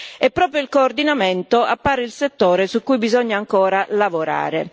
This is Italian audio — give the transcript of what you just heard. E proprio il coordinamento appare il settore su cui bisogna ancora lavorare.